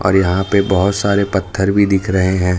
और यहां पे बहुत सारे पत्थर भी दिख रहे हैं।